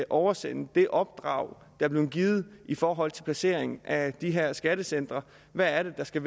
oversende det opdrag er blevet givet i forhold til placeringen af de her skattecentre hvad er det der skal